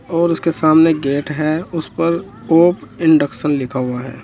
और उसके सामने एक गेट है उस पर होप इंडक्शन लिखा हुआ है।